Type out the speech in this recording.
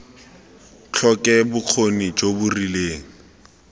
tlhoke bokgoni jo bo rileng